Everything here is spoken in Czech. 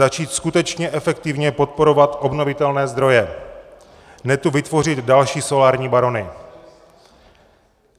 Začít skutečně efektivně podporovat obnovitelné zdroje, ne tu vytvořit další solární barony.